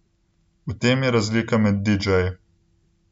V tem je razlika med didžeji.